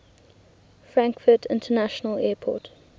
frankfurt international airport